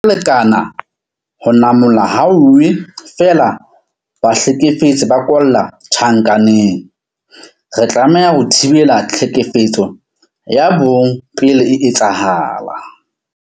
Lekana ho namola hauwe feela ha bahlekefetsi ba kwalla tjhankaneng. Re tlameha ho thibela tlhekefetso ya bong pele e etsahala.